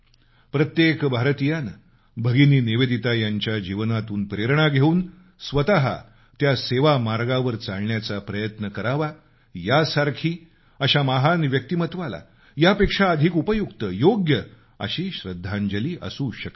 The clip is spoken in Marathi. प्रत्येक भारतीयानं भगिनी निवेदिता यांच्या जीवनातून प्रेरणा घेऊन स्वतः त्या सेवामार्गावर चालायचा प्रयत्न करावा यासारखी अशा महान व्यक्तित्वाला यापेक्षा अधिक उपयुक्त योग्य अशी श्रद्धांजली असू शकत नाही